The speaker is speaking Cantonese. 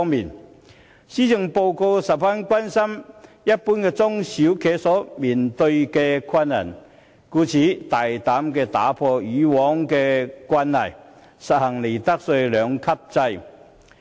特首在施政報告中十分關注一般中小企面對的困難，故此大膽打破以往的慣例，實行利得稅兩級制。